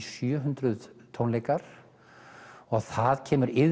sjö hundruð tónleikar og það kemur